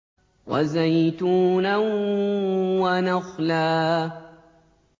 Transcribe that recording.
وَزَيْتُونًا وَنَخْلًا